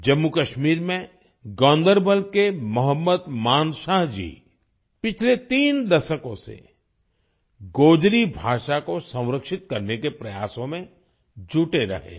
जम्मूकश्मीर में गान्दरबल के मोहम्मद मानशाह जी पिछले तीन दशकों से गोजरी भाषा को संरक्षित करने के प्रयासों में जुटे रहे हैं